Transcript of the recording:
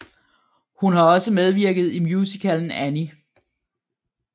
Hun har også medvirket i musicalen Annie